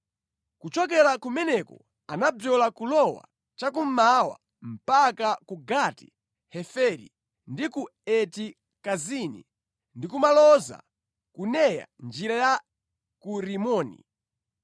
Kuchokera kumeneko anabzola kulowa cha kummawa mpaka ku Gati-Heferi ndi ku Eti Kazini ndi kumaloza ku Neya njira ya ku Rimoni.